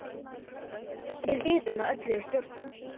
Við vitum að öllu er stjórnað.